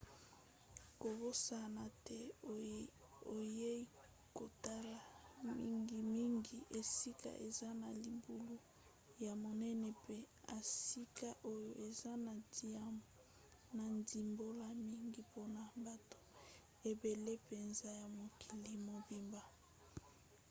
kobosana te oyei kotala mingimingi esika eza na libulu ya monene mpe esika oyo eza na ndimbola mingi mpona bato ebele mpenza ya mokili mobimba